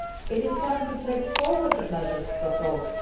It is time to take forward the measures proposed.